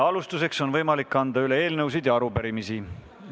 Alustuseks on võimalik anda üle eelnõusid ja arupärimisi.